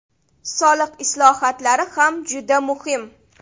Soliq islohotlari ham juda muhim.